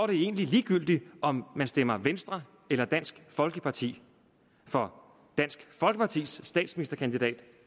det egentlig ligegyldigt om du stemmer venstre eller dansk folkeparti for dansk folkepartis statsministerkandidat